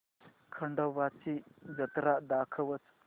खंडोबा ची जत्रा दाखवच